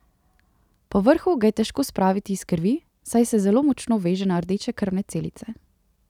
Povrhu ga je težko spraviti iz krvi, saj se zelo močno veže na rdeče krvne celice.